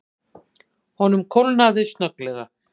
Honum kólnaði snögglega.